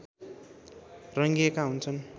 रङ्गिएका हुन्छन्